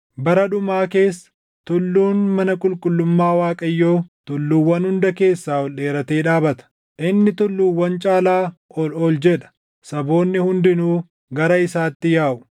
Bara dhumaa keessa, tulluun mana qulqullummaa Waaqayyoo tulluuwwan hunda keessaa ol dheeratee dhaabata; inni tulluuwwan caalaa ol ol jedha; saboonni hundinuu gara isaatti yaaʼu.